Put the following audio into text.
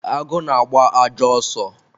agụ na-agba ajọ ọsọ